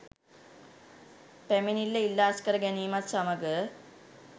පැමිණිල්ල ඉල්ලා අස්‌කර ගැනීමත් සමග